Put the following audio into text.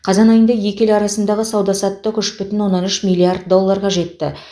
қазан айында екі ел арасындағы сауда саттық үш бүтін оннан үш миллиард долларға жетті